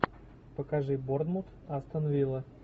покажи борнмут астон вилла